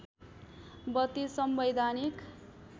३२ संवैधानिक